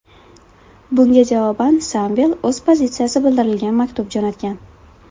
Bunga javoban Samvel o‘z pozitsiyasi bildirilgan maktub jo‘natgan.